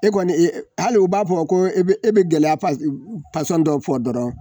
E kɔni e e hali u b'a fɔ ko e bɛ gɛlɛya pasɔn dɔ fɔ dɔrɔn.